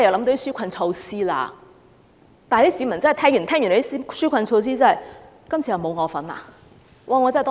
但是，市民聽完那些紓困措施後，覺得今次又沒有自己的份。